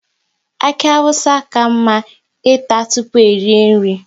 Aki awụsa na ka mma ịta tụpụ erie nri